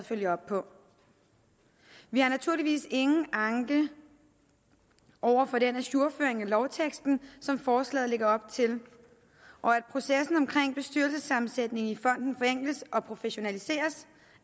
følger op på vi har naturligvis ingen anke over for den ajourføring af lovteksten som forslaget lægger op til og at processen omkring bestyrelsessammensætningen i fonden forenkles og professionaliseres